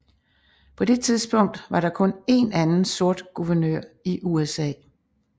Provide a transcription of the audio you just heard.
På det tidspunkt var der kun én anden sort guvernør i USA